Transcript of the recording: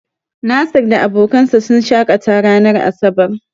Nasir da abokansa sun shaƙata ranar asabar.